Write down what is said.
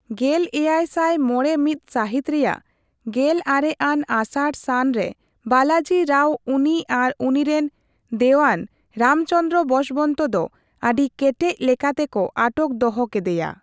ᱞᱮᱭᱟᱭ ᱥᱟᱭ ᱢᱚᱲᱮ ᱢᱤᱛ ᱥᱟᱦᱤᱛ ᱨᱮᱭᱟᱜ ᱜᱮᱞᱟᱨᱮ ᱟᱱ ᱟᱥᱟᱲᱼᱥᱟᱱ ᱨᱮ ᱵᱟᱞᱟᱡᱤ ᱨᱟᱣ ᱩᱱᱤ ᱟᱨ ᱩᱱᱤᱨᱮᱱ ᱫᱮᱣᱟᱱ ᱨᱟᱢᱪᱚᱱᱫᱨᱚ ᱵᱚᱥᱵᱚᱱᱛᱚ ᱫᱚ ᱟᱹᱰᱤ ᱠᱮᱴᱮᱡ ᱞᱮᱠᱟᱛᱮ ᱠᱚ ᱟᱴᱚᱠ ᱫᱚᱦᱚ ᱠᱮᱫᱮᱭᱟ ᱾